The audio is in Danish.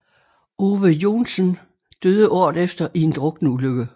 Ove Joensen døde året efter i en drukneulykke